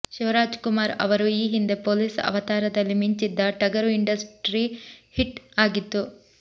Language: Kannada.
ಶಿವರಾಜಕುಮಾರ್ ಅವರು ಈ ಹಿಂದೆ ಪೋಲೀಸ್ ಅವತಾರದಲ್ಲಿ ಮಿಂಚಿದ್ದ ಟಗರು ಇಂಡಸ್ಟ್ರಿ ಹಿಟ್ ಆಗಿತ್ತು